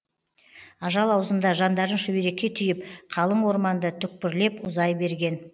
ажал аузында жандарын шүберекке түйіп қалың орманды түкпірлеп ұзай берген